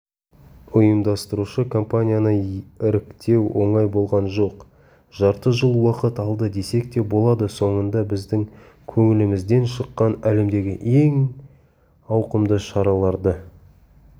ұйымдастырушы компанияны іріктеу оңай болған жоқ жарты жыл уақыт алды десек те болады соңында біздің көңілімізден шыққан әлемдегі ең ауқымды шараларды